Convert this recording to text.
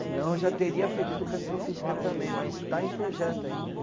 Senão eu já teria feito educação física também, mas está em projeto ainda.